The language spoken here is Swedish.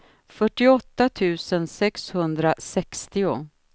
fyrtioåtta tusen sexhundrasextio